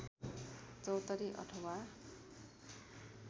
चौतारी अथवा